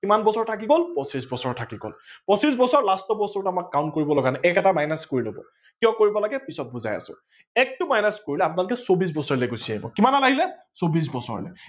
কিমান বছৰ থাকি গল পচিছ বছৰ থাকি গল ।পচিছ বছৰ last বছৰটো আমাৰ কাম কৰিব লগা নাই এক এটা minus কৰি লব, কিয় কৰিব লাগে পিছত বুজাই আছো ।একটো minus কৰিলে আপোনালোকে চৌবিশ বছৰ লে গুচি আহিব কিমানলৈ আহিলে চৌবিশ বছৰলে